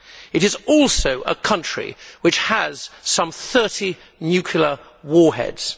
it is also a country which has some thirty nuclear warheads.